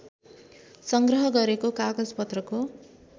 सङ्ग्रह गरेको कागजपत्रको